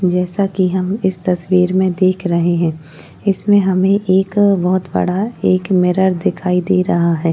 जैसा कि हम इस तस्वीर में देख रहे है इसमें हमें एक बोहोत बड़ा एक मिरर दिखाई दे रहा है।